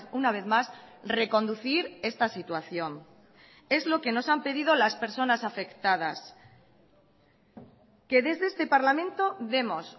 una vez más reconducir esta situación es lo que nos han pedido las personas afectadas que desde este parlamento demos